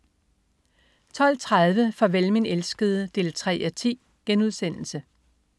12.30 Farvel min elskede 3:10*